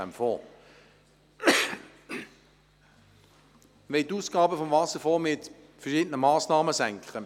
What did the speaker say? Wir wollen die Ausgaben des Wasserfonds mit verschiedenen Massnahmen senken.